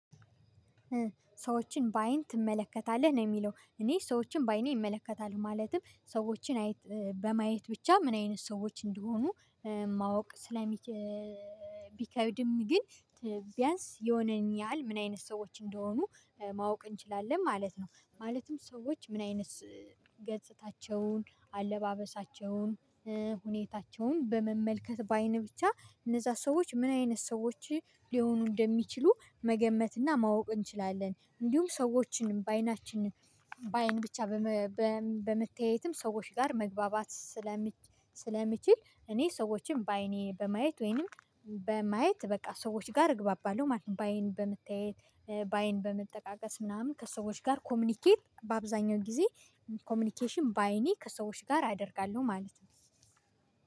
ሰዎችን በአይን ትመለከታለህ ነው ሚለው እኔ ሰዎችን በአይኔ እመለከታለው ማለትም ሰዎችን በማየት ብቻ ምን አይነት ሰዎች እንደሆኑ ማወቅ ስለ ቢከብድም ግን ቢያንስ የሆነን ያህል ምን አይነት ሰዎች እንደሆኑ ማወቅ እንችላለን ማለት ነው። ማለትም ሰዎች ምን አይነት ገጽታቸውን አለባበሳቸውን ሁኔታቸውን በመመልከት በአይን ብቻ እነዛ ሰዎች ምን አይነት ሰዎች ሊሆኑ እንደሚችሉ መገመትና ማወቅ እንችላለን። እንዲሁም ሰዎችን በአይናችን በአይን ብቻ በመተያየትም ሰዎች ጋር መግባባት ስለሚችል እኔ ሰዎችን በአይኔ በማየት ወይንም በማየት በቃ ሰዎች ጋር እግባባለሁ ማለት ነው። በአይን በመተያየት በአይን በመጠቃቀስ ምናምን ከሰዎች ጋር ኮሚኒኬት በአብዛኛው ጊዜ ኮሚኒኬሽን በአይኔ ከሰዎች ጋር አደርጋለሁ ማለት ነው